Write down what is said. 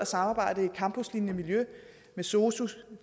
samarbejde i et campuslignende miljø med sosu